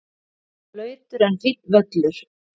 Blautur en fínn völlur.